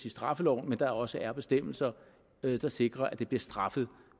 i straffeloven men også er bestemmelser der sikrer at det bliver straffet